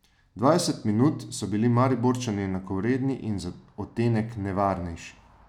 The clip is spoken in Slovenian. Dvajset minut so bili Mariborčani enakovredni in za odtenek nevarnejši.